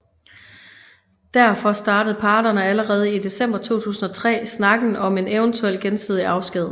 Derfor startede parterne allerede i december 2003 snakken om en eventuel gensidig afsked